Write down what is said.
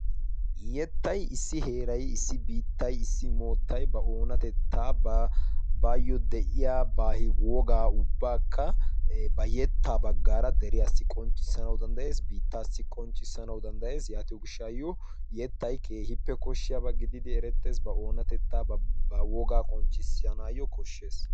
Yettay issi heerai issi biittay issi moottai ba oonatettaa baayyo de'iya baahi wogaa ubbaakka ba yettaa baggaara deriyaassi qonccissanau danddayees biittaassi qonccissanawu danddayees. yaatiyo gishshaayyo yettay keehiippe koshshiyaabaa gididi erettees ba oonatettaa ba wogaa qonccissanaayyo koshshees.